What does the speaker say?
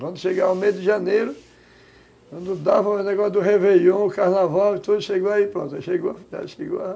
Quando chegava o mês de janeiro, quando dava o negócio do réveillon, o carnaval e tudo, chegou aí, pronto, chegou a